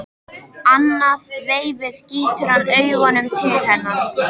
Annað veifið gýtur hann augunum til hennar.